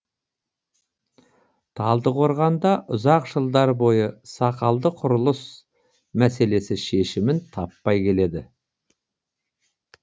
талдықорғанда ұзақ жылдар бойы сақалды құрылыс мәселесі шешімін таппай келеді